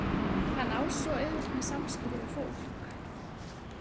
Hann á svo auðvelt með samskipti við fólk.